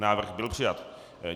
Návrh byl přijat.